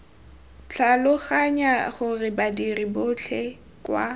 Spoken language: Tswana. tlhaloganya gore badiri botlhe kwa